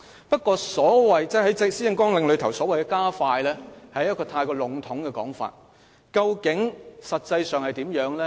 不過，施政綱領所謂的"加快"，是過於籠統的說法，究竟實際上會怎樣安排呢？